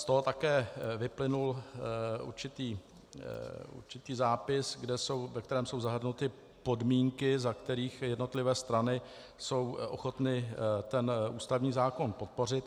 Z toho také vyplynul určitý zápis, ve kterém jsou zahrnuty podmínky, za kterých jednotlivé strany jsou ochotny ten ústavní zákon podpořit.